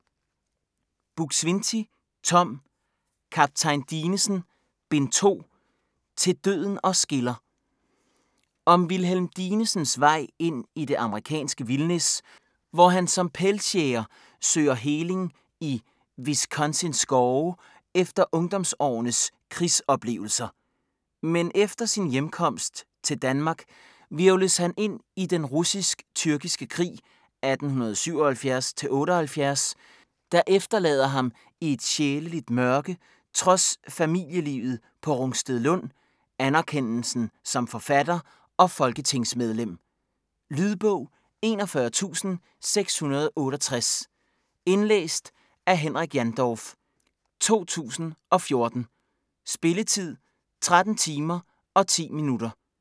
Buk-Swienty, Tom: Kaptajn Dinesen: Bind 2: "Til døden os skiller" Om Wilhelm Dinesens vej ind i det amerikanske vildnis, hvor han som pelsjæger søger heling i Wisconsins skove efter ungdomsårenes krigsoplevelser. Men efter sin hjemkomst til Danmark hvirvles han ind i den russisk-tyrkiske krig 1877-78, der efterlader ham i et sjæleligt mørke, trods familielivet på Rungstedlund, anerkendelsen som forfatter og folketingsmedlem. Lydbog 41668 Indlæst af Henrik Jandorf, 2014. Spilletid: 13 timer, 10 minutter.